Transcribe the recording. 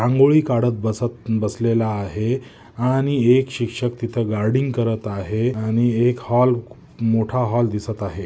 रागोळी काडत बसत बसलेल आहे आणि एक शिक्षक तिथ गर्डिग करत आहे आणि एक हॉल मोठा हॉल दिसत आहे.